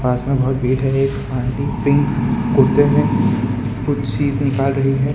पास में बहुत भीड़ है एक आंटी पिक कुर्ते में कुछ चीजें निकाल रही है।